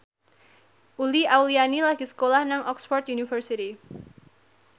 Uli Auliani lagi sekolah nang Oxford university